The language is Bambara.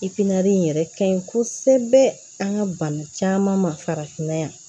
in yɛrɛ ka ɲi kosɛbɛ an ka bana caman ma farafinna yan